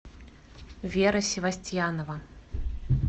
вера севастьянова